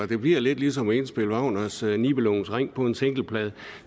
det bliver lidt ligesom at indspille wagners nibelungens ring på en singleplade